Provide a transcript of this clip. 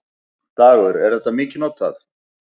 Dagur: Er þetta mikið notað?